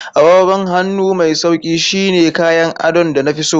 Agogon hannu mai sauƙi shine kayan adon da na fi so.